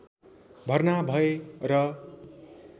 भर्ना भए र